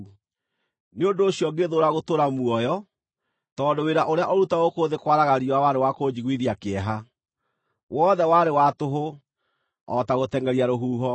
Nĩ ũndũ ũcio ngĩthũũra gũtũũra muoyo, tondũ wĩra ũrĩa ũrutagwo gũkũ thĩ kwaraga riũa warĩ wa kũnjiguithia kĩeha. Wothe warĩ wa tũhũ, o ta gũtengʼeria rũhuho.